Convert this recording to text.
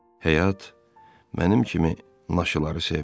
Həyat mənim kimi naşıları sevmir.